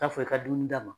Taa fɔ i ka dumuni d'a ma